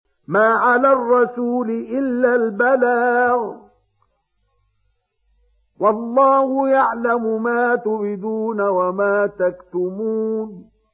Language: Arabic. مَّا عَلَى الرَّسُولِ إِلَّا الْبَلَاغُ ۗ وَاللَّهُ يَعْلَمُ مَا تُبْدُونَ وَمَا تَكْتُمُونَ